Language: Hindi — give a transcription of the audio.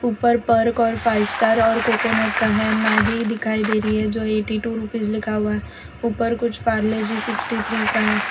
ऊपर पर्क और फाइव स्टार और कोकोनट का है मैगी दिखाई दे रही है जो एटी टू रुपीज लिखा हुआ है ऊपर कुछ पारले जी सिक्सटी थ्री का है।